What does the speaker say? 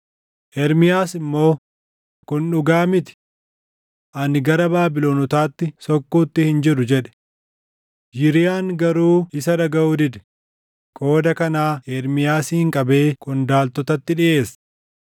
Ermiyaas immoo, “Kun dhugaa miti! Ani gara Baabilonotaatti sokkuutti hin jiru” jedhe. Yiriyaan garuu isa dhagaʼuu dide; qooda kanaa Ermiyaasin qabee qondaaltotatti dhiʼeesse.